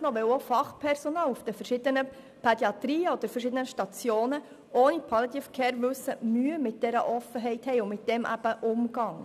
weil auch Fachpersonal in den verschiedenen Pädiatrien oder auf den verschiedenen Stationen ohne das Wissen rund um die Palliative Care Mühe mit dieser Offenheit haben sowie Mühe haben, damit umzugehen.